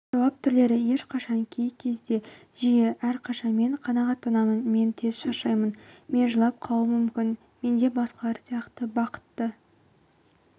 жауап түрлері ешқашан кей кезде жиі әрқашан мен қанағаттанамын мен тез шаршаймын мен жылап қалуым мүмкін менде басқалар сияқты бақытты